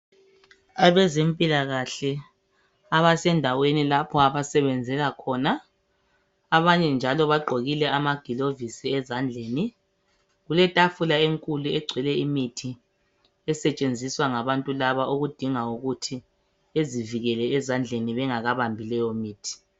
Abezempilakahle abasendaweni lapha abasebenzela khona , abanye njalo bagqokile amaglovisi ezandleni . Kuletafula enkulu egcwele imithi esetshenziswa ngabantu laba okudinga ukuthi bezivikele ezandleni bengakabambi leyomithi.